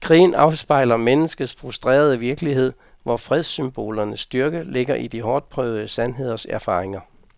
Krigen afspejler menneskets frustrerede virkelighed, hvor fredssymbolernes styrke ligger i de hårdtprøvede sandheders erfaringer.